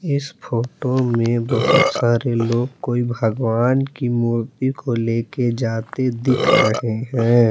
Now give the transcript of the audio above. इस फोटो में बहुत सारे लोग कोई भगवान की मूर्ति को लेके जाते दिख रहे हैं।